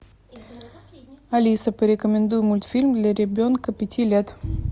алиса порекомендуй мультфильм для ребенка пяти лет